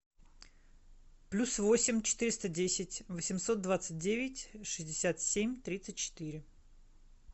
плюс восемь четыреста десять восемьсот двадцать девять шестьдесят семь тридцать четыре